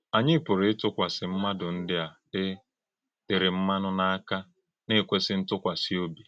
Ányị pụ̀rụ̀ ịtụ́kwàsị ḿmádụ́ ndị a e tèrè mmanụ̀ n’aka, na - ekwèsị ntùkwàsị òbí.